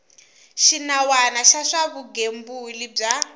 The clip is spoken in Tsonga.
xinawana xa swa vugembuli bya